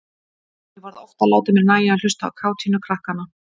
Ég varð oft að láta mér nægja að hlusta á kátínu krakkanna.